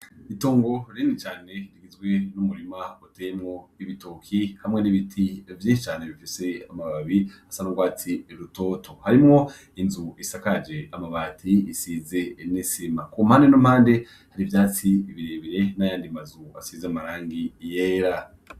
Itongo reni cane itgizwe n'umurima uteymwo ibitoki hamwe n'ibiti avyihicane bifise amababi asa n'urwatsi rutoto harimwo inzu isakaje amabati isize enesima ku mpande nu mpande hari ivyatsi ibirebire n'ayandimazu asize amarangi iyera.